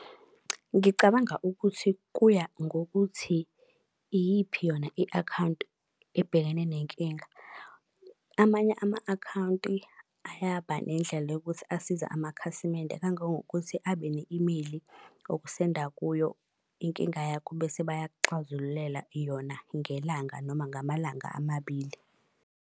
Ngicabanga ukuthi kuya ngokuthi iyiphi yona i-akhawunti ebhekene nenkinga. Amanye ama-akhawunti ayaba nendlela yokuthi asiza amakhasimende kangangokuthi abe ne-imeyili okusenda kuyo inkinga yakho bese bayakuxazululela yona ngelanga noma ngamalanga amabili.